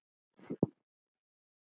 Leggið hinn botninn yfir.